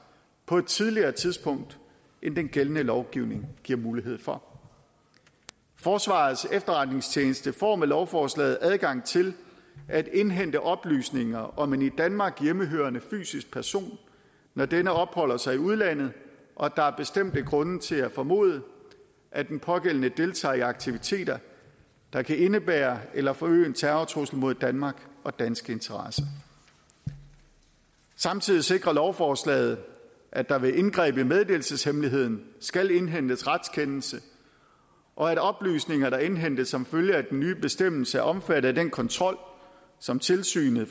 på et tidligere tidspunkt end den gældende lovgivning giver mulighed for forsvarets efterretningstjeneste får med lovforslaget adgang til at indhente oplysninger om en i danmark hjemmehørende fysisk person når denne opholder sig i udlandet og der er bestemte grunde til at formode at den pågældende deltager i aktiviteter der kan indebære eller forøge en terrortrussel mod danmark og danske interesser samtidig sikrer lovforslaget at der ved indgreb i meddelelseshemmeligheden skal indhentes retskendelse og at oplysninger der indhentes som følge af den nye bestemmelse er omfattet af den kontrol som tilsynet